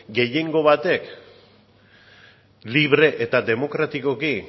gehiengo batek libre eta demokratikoki